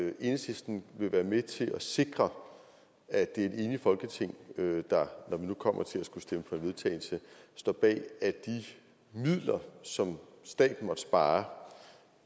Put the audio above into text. at enhedslisten vil være med til at sikre at det er et enigt folketing der når vi nu kommer til at skulle stemme for en vedtagelse står bag at de midler som staten måtte spare